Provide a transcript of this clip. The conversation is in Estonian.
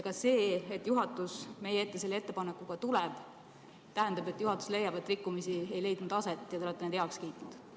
Kas see, et juhatus meie ette selle ettepanekuga tuleb, tähendab, et juhatus leiab, et rikkumisi aset ei leidnud ja te olete kõik heaks kiitnud?